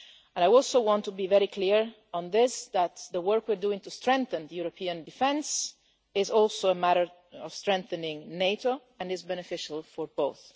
I also want to be very clear on this the work we are doing to strengthen European defence is also a matter of strengthening NATO and is beneficial for both.